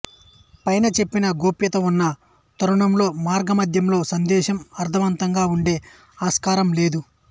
పైన చెప్పిన గోప్యత ఉన్న తరుణంలో మార్గ మధ్యంలో సందేశం అర్ధవంతంగా ఉండే ఆస్కారం లేదు